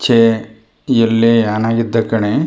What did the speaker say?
ಛೇ ಎಲ್ಲೆ ಹಣ ಇದ್ದ ಕಣೆ --